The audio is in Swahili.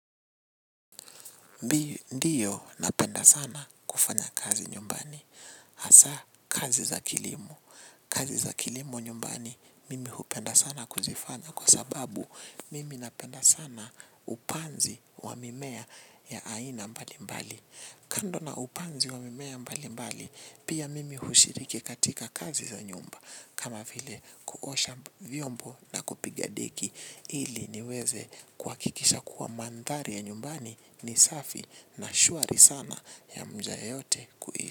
Ndiyo, napenda sana kufanya kazi nyumbani. Hasa kazi za kilimo. Kazi za kilimo nyumbani mimi hupenda sana kuzifanya kwa sababu mimi napenda sana upanzi wa mimea ya aina mbali mbali. Kando na upanzi wa mimea mbali mbali, pia mimi hushiriki katika kazi za nyumba. Kama vile kuosha vyombo na kupiga deki ili niweze kuhakikisha kuwa mandhari ya nyumbani ni safi na shwari sana ya mja yeyote kuishi.